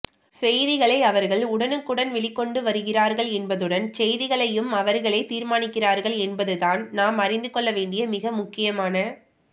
செய்திகளை அவர்கள் உடனுக்குடன் வெளிக்கொண்டுவருகிறார்கள் என்பதுடன் செய்திகளையும் அவர்களே தீர்மானிக்கிறார்கள் என்பது தான் நாம் அறிந்துக்கொள்ள வேண்டிய மிக முக்கியமான